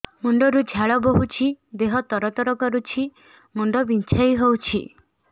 ମୁଣ୍ଡ ରୁ ଝାଳ ବହୁଛି ଦେହ ତର ତର କରୁଛି ମୁଣ୍ଡ ବିଞ୍ଛାଇ ହଉଛି